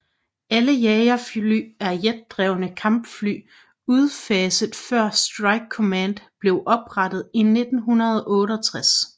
Alle jagerfly er jetdrevne Kampfly udfaset før Strike command blev oprettet i 1968